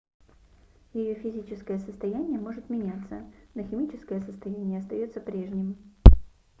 ее физическое состояние может меняться но химическое состояние остается прежним